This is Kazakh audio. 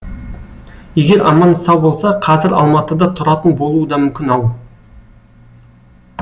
егер аман сау болса қазір алматыда тұратын болуы да мүмкін ау